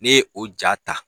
Ne ye o ja ta